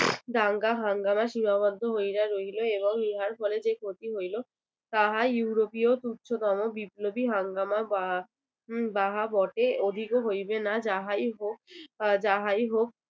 দাঙ্গা হাঙ্গামা সীমাবদ্ধ হইয়া রইলো এবং ইহার ফলে যে ক্ষতি হইলো তাহা ইউরোপীয় তুচ্ছতম বিপ্লবী হাঙ্গামা বা উহ বাহা বটে অধিক হইবে না যাহাই হোক আহ যাহাই হোক